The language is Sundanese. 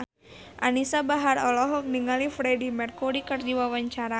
Anisa Bahar olohok ningali Freedie Mercury keur diwawancara